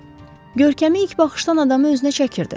Görkəmi ilk baxışdan adamı özünə çəkirdi.